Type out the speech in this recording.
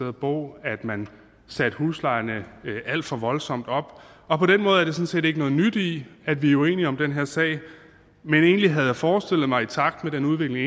at bo at man satte huslejerne alt for voldsomt op og på den måde er der sådan set ikke noget nyt i at vi er uenige om den her sag men egentlig havde jeg forestillet mig i takt med den udvikling